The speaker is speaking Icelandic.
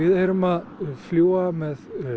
erum að fljúga með